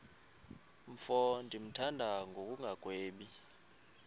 mfo ndimthanda ngokungagwebi